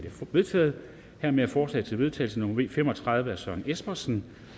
vedtaget hermed er forslag til vedtagelse nummer v fem og tredive af søren espersen